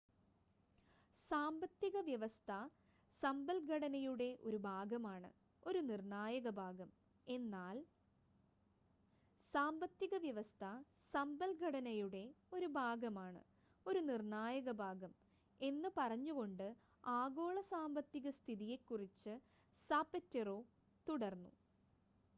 """സാമ്പത്തിക വ്യവസ്ഥ സമ്പദ്ഘടനയുടെ ഒരു ഭാഗമാണ് ഒരു നിർണ്ണായക ഭാഗം" എന്ന് പറഞ്ഞുകൊണ്ട് ആഗോള സാമ്പത്തിക സ്ഥിതിയെക്കുറിച്ച് സാപറ്റെറോ തുടർന്നു.